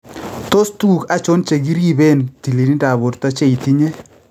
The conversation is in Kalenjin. Tos tuguk achon chekiripeen tililindap borto che itinye?